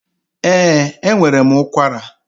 Ee, enwere m ụkwara